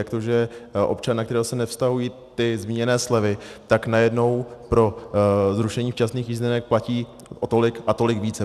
Jak to, že občan, na kterého se nevztahují ty zmíněné slevy, tak najednou pro zrušení včasných jízdenek platí o tolik a tolik více.